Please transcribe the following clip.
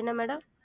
என்ன madam?